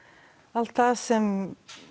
allt það sem